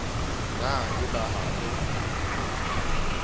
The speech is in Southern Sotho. na e be ha o